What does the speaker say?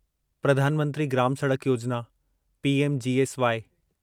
प्रधान मंत्री ग्राम सड़क योजिना पीएमजीएसवाई